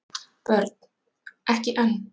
Börn: Ekki enn.